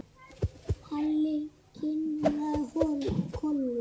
Halli kinkaði kolli.